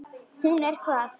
Hún er hvað.